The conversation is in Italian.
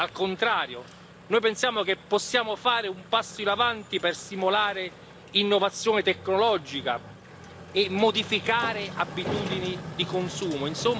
Al contrario, noi pensiamo che possiamo fare un passo avanti per stimolare l'innovazione tecnologica e modificare le abitudini di consumo.